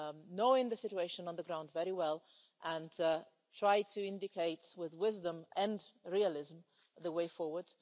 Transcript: knowing the situation on the ground very well and will try to indicate with wisdom and realism the way forward.